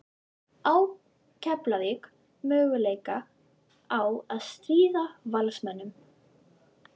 Á Keflavík möguleika á að stríða Valsmönnum?